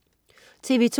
TV2: